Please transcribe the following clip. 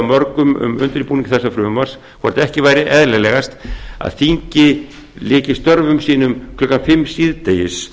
mörgum um undirbúning þessa frumvarps hvort ekki væri eðlilegast að þingið lyki störfum sínum klukkan fimm síðdegis